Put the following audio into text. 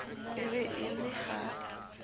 e be e le ha